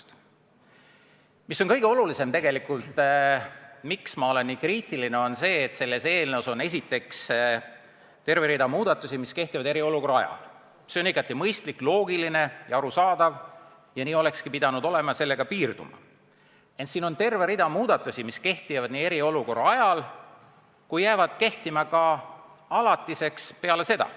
Ja tegelikult kõige olulisem, miks ma nii kriitiline olen, on see, et selles eelnõus on esiteks terve rida muudatusi, mis kehtivad eriolukorra ajal – see on igati mõistlik, loogiline ja arusaadav ning nii olekski pidanud olema, nendega tulnukski piirduda –, ent siin on ka terve rida muudatusi, mis kehtivad eriolukorra ajal ja jäävad kehtima alatiseks ka peale seda.